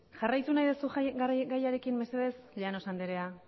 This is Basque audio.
jarraitu nahi duzu gaiarekin mesedez llanos anderea